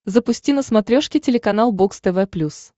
запусти на смотрешке телеканал бокс тв плюс